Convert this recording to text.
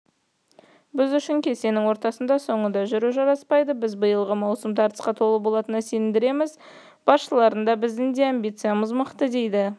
біз үшін кестенің ортасында соңында жүру жараспайды біз биылғы маусым тартысқа толы болатынына сендіреміз басшылардың да біздің де амбициямыз мықты дейді